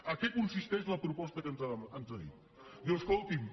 en què consisteix la proposta que ens ha dit diu escoltin